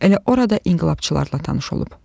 Elə orada inqilabçılarla tanış olub.